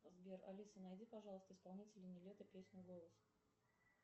сбер алиса найди пожалуйста исполнителя нилетто песня голос